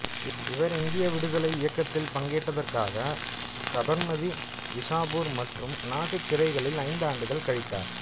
இவர் இந்திய விடுதலை இயக்கத்தில் பங்கேற்றதற்காக சபர்மதி விசாபூர் மற்றும் நாசிக் சிறைகளில் ஐந்து ஆண்டுகள் கழித்தார்